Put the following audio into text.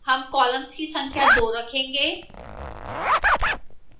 हम columns की संख्या 2 रखेंगे